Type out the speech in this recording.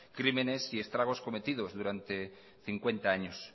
crímenes y estragos cometidos durante cincuenta años